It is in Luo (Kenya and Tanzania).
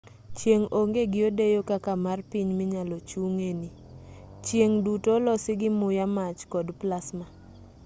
chieng' onge gi odeyo kaka mar piny minyalo chung'e ni chieng' duto olosi gi muya mach kod plasma